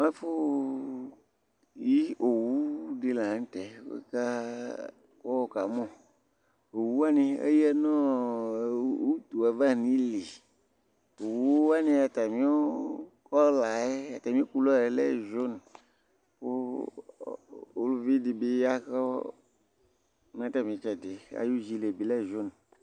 ɛfu yi owu di lantɛ kò wòka mo owu wani eya no utu ava n'ili owu wani atami kɔla yɛ lɛ jun kò uluvi di bi ya kò n'atami itsɛdi ayi jin yɛ bi lɛ jun